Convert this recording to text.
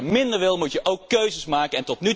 Want als je minder wil, moet je ook keuzes maken.